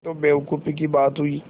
यह तो बेवकूफ़ी की बात हुई